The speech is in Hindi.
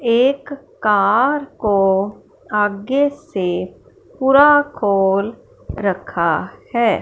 एक कार को आगे से पूरा खोल रखा है।